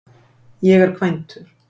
Ég er kvæntur.